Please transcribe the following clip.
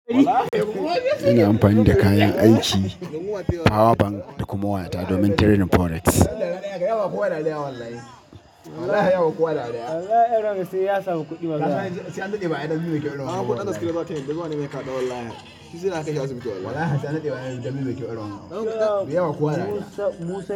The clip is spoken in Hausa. Ina amfani da kayan aiki, power bank da kuma wayata domin trading forex.